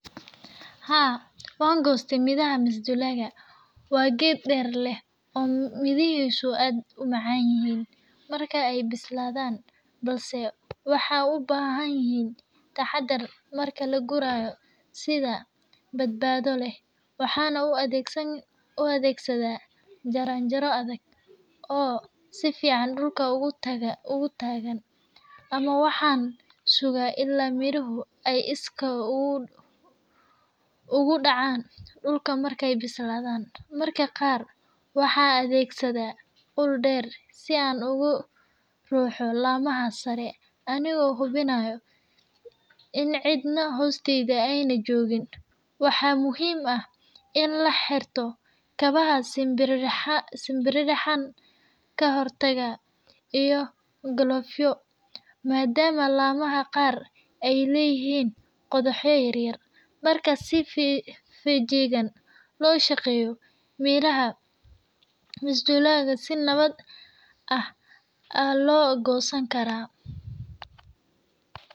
Haa wan gooste miraha masduulaga, waa ged dheer leh oo mirihisu aad u macaan yihiin marka ay bislaadan balse waxay ubahan yihiin taxadar marka laguraya sida badbaado leh, waxan u adeegsada jaran jara adag oo si fican dhulka ogu taagan ama waxan suga ila miruhu ay iskod ogu dhacan dhulka markay bislaadan, mararka qaar waxan adeegsada ul dheer si an ogu ruxo lamaha sare anigo hubinayo in cidna hoosteyda ayna jogin waxaa muhiim ah in laxirto kabaha sambiririxada kahortago iyo galofyo, maadama lamaha qaar ay leyihiin qodoxyo yaryar marka si fejigan loo shaqeeyo miraha masduulaga si nabad ah aa loo gosan karaa.